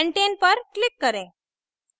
pentane पर click करें